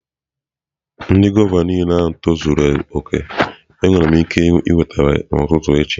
Ndị gwava niile tozuru oke, enwere m ike iweta ha n'ụtụtụ echi?